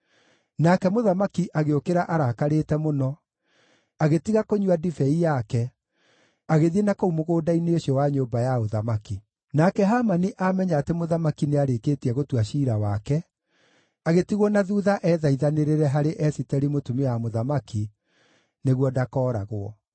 Nake mũthamaki agĩũkĩra arakarĩte mũno, agĩtiga kũnyua ndibei yake, agĩthiĩ nakũu mũgũnda-inĩ ũcio wa nyũmba ya ũthamaki. Nake Hamani amenya atĩ mũthamaki nĩarĩkĩtie gũtua ciira wake, agĩtigwo na thuutha ethaithanĩrĩre harĩ Esiteri mũtumia wa mũthamaki nĩguo ndakooragwo.